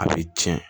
A bɛ tiɲɛ